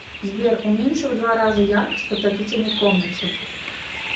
сбер уменьши в два раза яркость в отопительной комнате